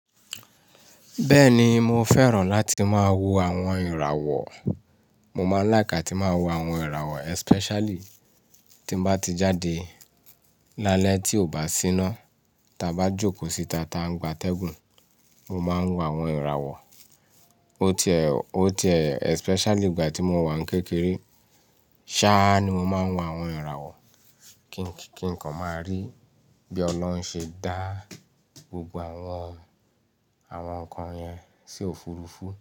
Bẹ́ẹ̀ni, mo fẹ́ràn láti máa wo àwọn ìràwọ̀. Mo máa ń like atí máa wo àwọn ìràwọ̀ especially tí n bá ti jáde lálẹ́ tí ò bá síná, ta bá jókòó síta ta ń gba tẹ́ẹ̀gùn, mo máa ń wo àwọn ìràwọ̀. O ti ẹ, o ti ẹ especially ìgbà tí mo wà ní kékeré. Ṣáá ni mo máa ń wo àwọn ìràwọ̀ kí, kí nǹkan máa rí bí Ọlọ́run ṣe dá gbogbo àwọn, àwọn nǹkan yẹn sí òfurufú.